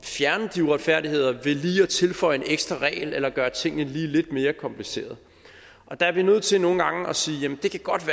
de uretfærdigheder ved lige at tilføje en ekstra regel eller gøre tingene lige lidt mere kompliceret der er vi nødt til nogle gange at sige jamen det kan godt